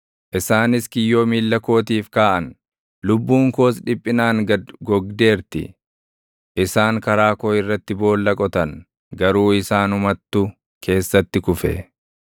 Isaanis kiyyoo miilla kootiif kaaʼan; lubbuun koos dhiphinaan gad gogdeerti. Isaan karaa koo irratti boolla qotan; garuu isaanumattu keessatti kufe.